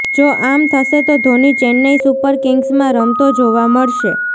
જો આમ થશે તો ધોની ચેન્નઇ સુપર કિંગ્સમાં રમતો જોવા મળશે